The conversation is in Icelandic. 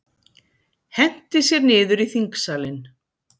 Henti sér niður í þingsalinn